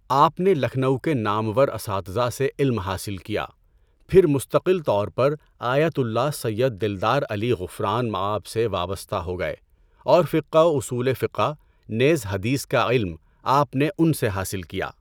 آپ نے لکھنؤ کے نامور اساتذہ سے علم حاصل کیا۔ پھر مستقل طور پر آیت اللہ سید دلدار علی غفران مآب سے وابستہ ہو گئے اور فقہ و اصولِ فقہ، نیز حدیث کا علم آپ نے ان سے حاصل کیا۔